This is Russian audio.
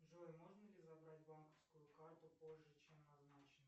джой можно ли забрать банковскую карту позже чем назначено